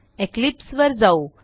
Eclipse वर जाऊ